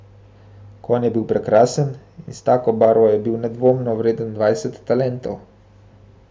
Konj je bil prekrasen in s tako barvo je bil nedvomno vreden dvajset talentov.